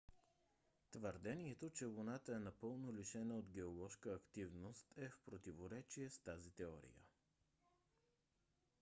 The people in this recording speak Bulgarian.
твърдението че луната е напълно лишена от геоложка активност е в противоречие с тази теория